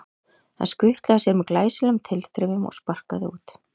Hann skutlaði sér með glæsilegum tilþrifum og sparkaði út.